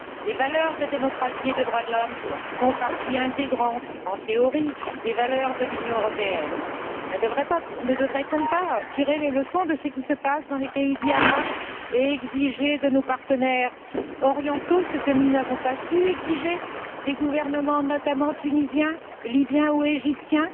Les valeurs de démocratie et de droits de l'homme font partie intégrante, en théorie, des valeurs de l'Union européenne. Ne devrait on pas tirer les leçons de ce qui se passe dans les pays dits arabes et exiger de nos partenaires orientaux ce que nous n'avons pas su exiger de certains gouvernements, notamment tunisien, libyen ou égyptien?